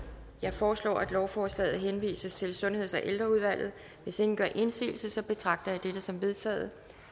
jeg foreslår at lovforslaget henvises til sundheds og ældreudvalget hvis ingen gør indsigelse betragter jeg dette som vedtaget